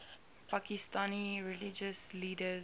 pakistani religious leaders